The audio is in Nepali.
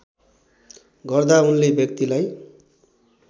गर्दा उनले व्यक्तिलाई